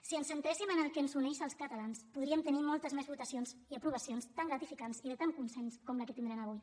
si ens centréssim en el que ens uneix als catalans podríem tenir moltes més votacions i aprovacions tan gratificants i de tant consens com la que tindrem avui